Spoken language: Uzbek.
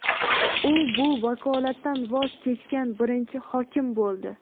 U bu vakolatdan voz kechgan birinchi hokim bo‘ldi.